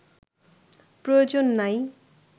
প্রয়োজন নাই